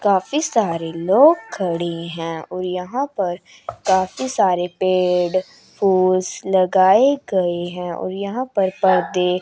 काफी सारे लोग खड़े हैं और यहां पर काफी सारे पेड़ फूल्स लगाए गए हैं और यहां पर पर्दे--